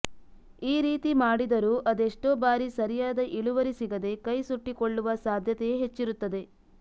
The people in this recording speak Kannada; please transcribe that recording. ಈ ರೀತಿ ಮಾಡಿದರೂ ಅದೆಷ್ಟೋ ಬಾರಿ ಸರಿಯಾದ ಇಳುವರಿ ಸಿಗದೆ ಕೈ ಸುಟ್ಟಿಕೊಳ್ಳುವ ಸಾಧ್ಯತೆಯೇ ಹೆಚ್ಚಿರುತ್ತದೆ